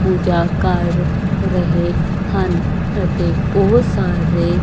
ਪੂਜਾ ਕਰ ਰਹੇ ਹਨ ਅਤੇ ਬਹੁਤ ਸਾਰੇ--